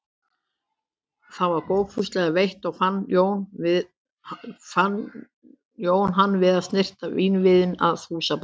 Það var góðfúslega veitt og fann Jón hann við að snyrta vínvið að húsabaki.